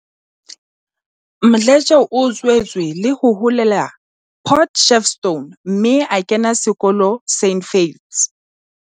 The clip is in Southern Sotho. Mdletshe o tswetswe le ho holela Port Shepstone mme a kena sekolo St Faiths.